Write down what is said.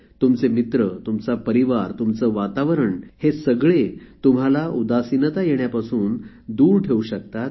तुमचे मित्र तुमचा परिवार तुमचे वातावरण हे सगळे तुम्हाला उदासिनता येण्यापासून दूर ठेवू शकतात